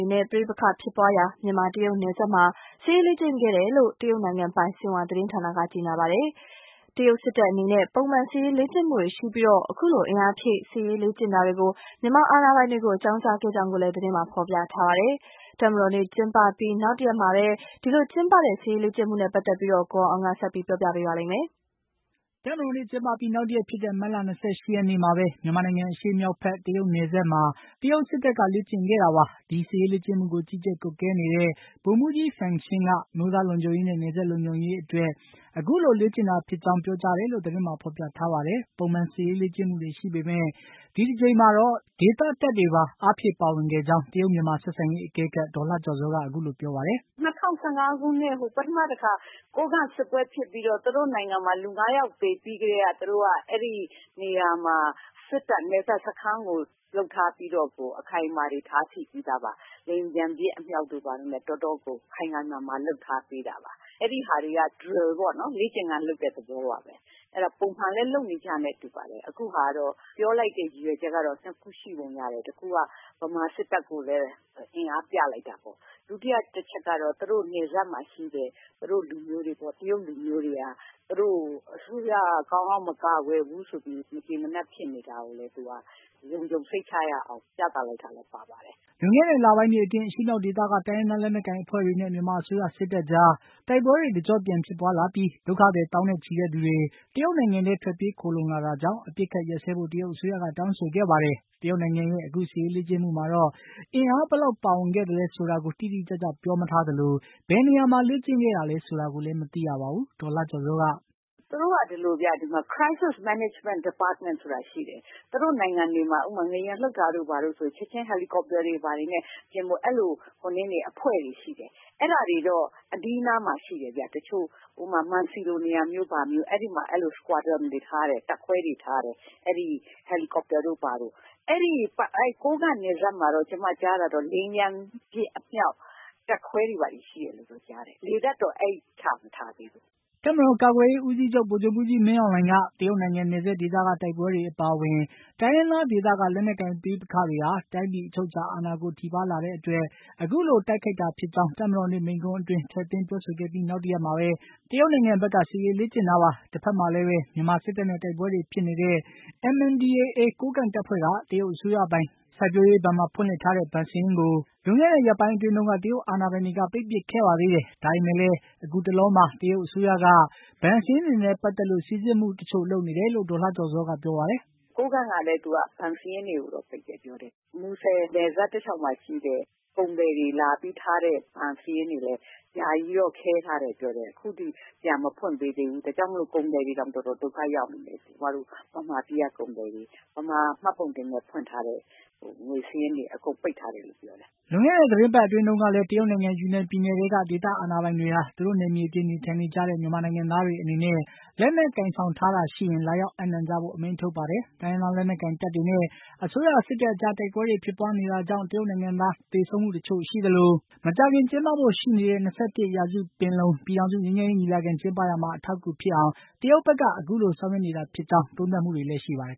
ေနဲ့ ပဋိပက္ခ ဖြစ်ပွားရာ မြန်မာ-တရုတ်နိုင်ငံနယ်စပ်မှာ စစ်ရေးလေ့ကျင့်ခဲ့တယ်လို့ တရုတ်နိုင်ငံပိုင် ဆင်ဟွာသတင်းဌာနက ကြေညာပါတယ်။ တရုတ်စစ်တပ်အနေနဲ့ ပုံမှန်စစ်ရေးလေ့ကျင့်မှုတွေရှိပြီး အခုလို အင်အားဖြည့် စစ်ရေးလေ့ကျင့်တာကို မြန်မာအာဏာပိုင်တွေကို အကြောင်းကြားခဲ့ကြောင်းလည်း သတင်းမှာ ဖေါ်ပြထားပါတယ်။ တပ်မတော်နေ့ကျင်းပအပြီးနောက်တရက်မှာ ကျင်းပတဲ့ စစ်ရေးလေ့ကျင်မှုနဲ့ ပတ်သတ်လို့ ကိုအောင်အောင်က တင်ပြထားပါတယ်။ တပ်မတော်နေ့ကျင်းပအပြီး နောက်တရက်ဖြစ်တဲ့ မတ်လ ၂၈ ရက်နေ့မှာ မြန်မာနိုင်ငံအရှေ့မြောက်ဘက် တရုတ်နယ်စပ်မှာ တရုတ်စစ်တပ်က စစ်ရေးလေ့ကျင့်ခဲ့တာပါ။ ဒီစစ်ရေးလေ့ကျင့်မှုကို ကြီးကြပ်ကွပ်ကဲနေတဲ့ ဗိုလ်မှူးကြီး Fang Xin က အမျိုးသားလုံခြုံရေးနဲ့ နယ်စပ်လုံခြုံရေးအတွက် အခုလို လေ့ကျင့်တာဖြစ်တယ်လို့ပြောကြားကြောင်း သတင်းမှာ ဖေါ်ပြထားပါတယ်။ ပုံမှန်စစ်ရေးလေ့ကျင့်မှုတွေရှိပေမယ့် ဒီတကြိမ်မှာတော့ ယူနန်ပြည်နယ်တပ်ကနေ အားဖြည့်ပါဝင်ခဲ့ကြောင်း တရုတ်မြန်မာဆက်ဆံရေး အကဲခတ် ဒေါ်လှကျော်ဇောက အခုလိုပြောပါတယ်။ “၂၀၁၅ ခုနှစ်ပထမတခါ ကိုးကန့်စစ်ပွဲဖြစ်ပြီးတော့ သူတို့နိုင်ငံမှာ လူ၅ ယောက်သေပြီးကတည်းက သူတို့က အဲဒီနေရာမှာ စစ်တပ်က နပ်စပ်စခန်းကို လုပ်ထားပြီးတော့ကို အခိုင်အမာတွေထားရှိပြီးသားပါ။ လေယာဉ်ပျံပစ်အမြှောက်တွေနဲ့ ခိုင်ခိုင်မာမာလုပ်ထားပြီးသားပါ။ အဲဒါဟာတွေက Drill ပေါ့နော် လေ့ကျင့်ခန်းလုပ်တဲ့သဘောပါပဲ။ ပုံမှန်လည်း လုပ်နေကြနဲ့ တူပါတယ်။ အခုဟာကတော့ ပြောလိုက်တဲ့ရည်ရွယ်ချက်ကတော့ ၂ ခုရှိပုံရတယ်။ တခုက မြန်မာစစ်တပ်ကို လည်း ၊ အင်အားပြလိုက်ပုံရတယ်။ ဒုတိယတချက်ကတော့ သူတို့ နယ်စပ်မှာရှိတဲ့ တရုတ်လူမျိုးတွေက အစိုး၇က ကောင်းကောင်းမကာကွယ်ဘူးဆိုပြီးတော့ မကျေမနပ်ဖြစ်နေတာကိုလည်း သူတို့က လုံခြုံစိတ်ချရအောင် ပြသလိုက်တာလည်း ပါပါတယ်။” လွန်ခဲ့တဲ့လပိုင်းတွေအတွင်း အရှေ့မြောက်ဒေသက တိုင်းရင်းသားလက်နက်ကိုင်အဖွဲ့တွေနဲ့ မြန်မာအစိုးရစစ်တပ်ကြား တိုက်ပွဲတွေ တကြော့ပြန်ဖြစ်ပွါးလာပြီး ဒုက္ခသည် သောင်းနဲ့ချီ တရုတ်နိုင်ငံထဲ ထွက်ပြေးခိုလှုံလာတာကြောင့် အပစ်အခတ်ရပ်ဆဲဖို့ တရုတ်အစိုးရက တောင်းဆိုခဲ့ပါတယ်။ တရုတ်နိုင်ငံရဲ့ အခု စစ်ရေးလေ့ကျင့်မှုမှာတော့ အင်အားဘယ်လောက်ပါဝင်သလဲဆိုတာ တိတိကျကျပြောမထားသလို ဘယ်နေရာမှာ လေ့ကျင့်ခဲ့တာလည်းဆိုတာလည်း မသိရပါဘူး။ ဒေါ်လှကျော်ဇောက “သူတို့က ဒီမှာ Crisis management department ဆိုတာရှိတယ် သူတို့နိုင်ငံတွေမှာ ဥပမာ ငလျင်လှုပ်တာတို့ ဘာတို့ဆိုရင် ချက်ချင်း Helicopter တွေဘာတွေနဲ့ လုပ်တဲ့အဖွဲ့တွေရှိတယ်။ အဲဒါတွေကတော့ အနီးအနားမှာရှိတယ် ဥပမာ- မန်စီလိုနေရာတို့တွေမှာ အဲလိုမျိုးတပ်ခွဲတွေ ကိုထားတယ် Helicopter တွေဘာတွေနဲ့ ။ ကိုးကန့်နယ်စပ်မှာကတော့ ကျမကြားတာကတော့ လေယာဉ်ပျံပစ်အမြှောက်တပ်ခွဲတွေဘာတွေရှိတယ်လို့တော့ ကြားတယ်။ လေတပ်ကတော့ ချမထားသေးဘူး။” မြန်မာ့တပ်မတော် ကာကွယ်ရေးဦးစီးချုပ် ဗိုလ်ချုပ်မှူးကြီးမင်းအောင်လှိုင်က တရုတ်နိုင်ငံ နယ်စပ်ဒေသက တိုက်ပွဲတွေအပါအဝင် တိုင်းရင်းသားဒေသက လက်နက်ကိုင် ပဋိပက္ခတွေဟာတိုင်းပြည် အချုပ်အခြာအာဏာကို ထိပါးလာတဲ့အတွက် အခုလို တိုက်ခိုက်တာဖြစ်ကြောင်း တပ်မတော်နေ့မိန့်ခွန်းအတွင်း ထည့်သွင်း ပြောဆိုခဲ့ပြီး နောက်တရက်မှာ တရုတ်နိုင်ငံဘက်က စစ်ရေးလေ့ကျင့်တာပါ။ တဖက်မှာလည်း မြန်မာစစ်တပ်နဲ့ တိုက်ပွဲတွေဖြစ်နေတဲ့ MNDAA ကိုးကန့်တပ်ဖွဲ့က တရုတ်အစိုးရပိုင် စိုက်ပျိုးရေးဘဏ်မှာ ဖွင့်လှစ်ထားတဲ့ ဘဏ်စာရင်းကို လွန်ခဲ့တဲ့ ရက်ပိုင်းအတွင်းတုန်းကတရုတ်အာဏာပိုင်တွေက ပိတ်ပစ်ခဲ့ပါသေးတယ်။ ဒါပေမယ့်လည်း အခုတလောမှာ တရုတ်အစိုးရက ဘဏ်စာရင်းတွေနဲ့ ပါတ်သတ်လို့ စိစစ်မှုတချို့ လုပ်နေတယ်လို့ ဒေါ်လှကျော်ဇောက ပြောပါတယ်။ “ကိုးကန့်ကလည်း သူက ဘဏ်စာရင်းတွေကို ပိတ်တယ်လို့ပြောတယ်။ မူဆယ်နယ်စပ်တလျှောက်မှာရှိတဲ့ ကုန်သည်တွေလာပြီးထားတဲ့ ဘဏ်စာရင်းတွေလည်း ယာယီ ခဲထားတယ်လို့ပြောတယ် အခုထိတော့ ပြန်မဖွင့်ပေးသေးဘူး။ ဒါကြောင့်မို့ ကုန်သည်တွေတော်တော်တော်ဒုက္ခရောက်နေတယ်။ ကျမတို့ မြန်မာပြည်က ကုန်သည်တွေ၊ မြန်မာမှတ်ပုံတင်နဲ့ ဖွင့်ထားတဲ့ ဘဏ်စာရင်းတွေအကုန်ပိတ်ထားတယ်လို့ပြောတယ်။” လွန်ခဲ့တဲ့ သီတင်းပတ်အတွင်းတုန်းကလည်း တရုတ်နိုင်ငံ ယူနန်ပြည်နယ်ထဲက ဒေသခံအာဏာပိုင်တွေဟာ သူတို့နယ်မြေအတွင်း နေထိုင်နေကြတဲ့ မြန်မာနိုင်ငံသားတွေ အနေနဲ့ လက်နက်ကိုင်ဆောင်ထားတာရှိရင် လာရောက်အပ်နှံကြဖို့ အမိန့်ထုတ်ပါတယ်။ တိုင်းရင်းသားလက်နက်ကိုင်တပ်တွေနဲ့ အစိုးရစစ်တပ်အကြား တိုက်ပွဲတွေ ဖြစ်ပွါးနေတာကြောင့် တရုတ်နိုင်ငံသား သေဆုံးမှုတွေ ရှိသလို မကြာခင်ကျင်းပဖို့ရှိနေတဲ့ ၂၁ ရာစု ပင်လုံ ပြည်ထောင်စုငြိမ်းချမ်းရေးညီလာခံကျင်းပရာမှာ အထောက်အကူဖြစ်အောင် တရုတ်ဖက်က အခုလို ဆောင်ရွက်နေတာဖြစ်ကြောင်း သုံးသပ်မှုတွေလည်း ရှိပါတယ်